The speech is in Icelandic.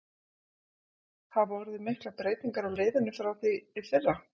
Hafa orðið miklar breytingar á liðinu frá því í fyrra?